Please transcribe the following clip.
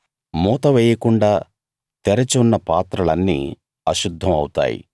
మూత వేయకుండా తెరచి ఉన్న పాత్రలన్నీ అశుద్ధం ఔతాయి